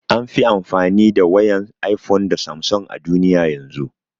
An fi amfani da wayan iphone da samsung a duniya yanzun